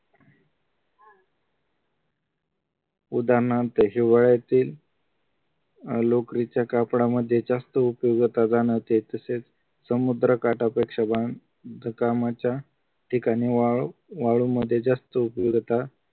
उदाहरणार्थ हिवाळ्यातील लोकरीच्या कापडामध्ये जास्त उपयोगिता जाणवते तसेच समुद्र काटा पेक्षा वाहन कामाच्या ठिकाणी वाळू वाळू मध्ये जास्त उपयोगिता